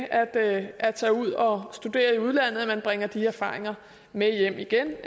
at at tage ud og studere i udlandet at man bringer de erfaringer med hjem igen